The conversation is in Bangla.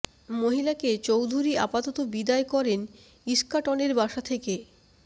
মহিলাকে চৌধুরী আপাতত বিদায় করেন ইস্কাটনের বাসা থেকে